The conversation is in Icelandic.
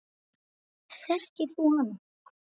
Þekkir þú hann?